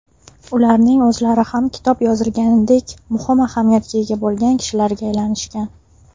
Ularning o‘zlari ham kitob yozilganidek muhim ahamiyatga ega bo‘lgan kishilarga aylanishgan.